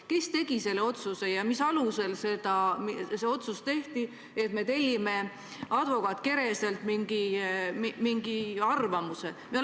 Kes selle otsuse tegi ja mis alusel see otsus tehti, et tellime advokaat Kereselt mingi arvamuse?